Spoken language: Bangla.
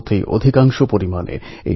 আপনারা আরও এগিয়ে চলুন খেলুন উন্নতি করুন